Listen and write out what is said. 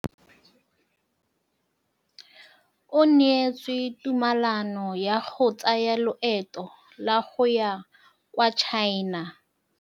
O neetswe tumalanô ya go tsaya loetô la go ya kwa China.